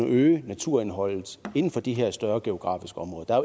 øge naturindholdet inden for de her større geografiske områder